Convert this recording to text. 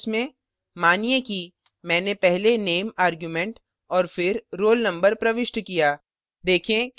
अब parentheses में मानिए कि मैने पहले name argument और फिर roll number प्रविष्ट किया